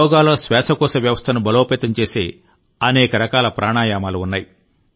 యోగాలో శ్వాసకోశ వ్యవస్థను బలోపేతం చేసే అనేక రకాల ప్రాణాయామాలు ఉన్నాయి